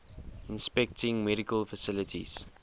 inspecting medical facilities